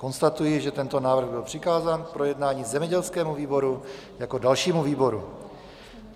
Konstatuji, že tento návrh byl přikázán k projednání zemědělskému výboru jako dalšímu výboru.